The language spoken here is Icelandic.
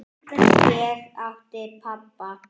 Ég átti pabba.